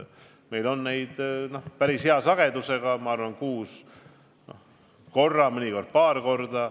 Meil on koosolekuid päris hea sagedusega, ma arvan, kuus korra, mõnikord paar korda.